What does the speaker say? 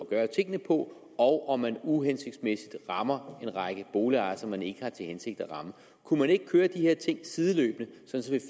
gøre tingene på og om man uhensigtsmæssigt rammer en række boligejere som man ikke har til hensigt at ramme kunne man ikke køre de her ting sideløbende så vi